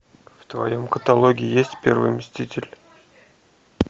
в твоем каталоге есть первый мститель